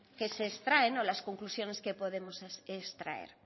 que se extraen o las conclusiones que podemos extraer